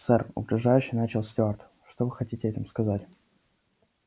сэр угрожающе начал стюарт что вы хотели этим сказать